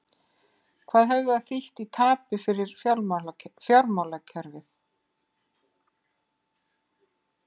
Hvað hefði það þýtt í tapi fyrir fjármálakerfið?